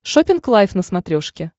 шоппинг лайв на смотрешке